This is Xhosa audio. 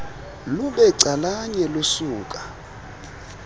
lube calanye lusuka